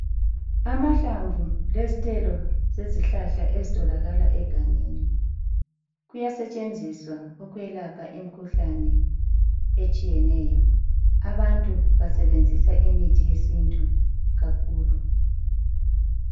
Amahlamvu lezithelo zezizihlahla ezitholakala egangeni kuyasetsheziswa ukwelapha imikhuhlane etshiyeneyo. Abantu basebenzisa imithi yesintu kakhulu.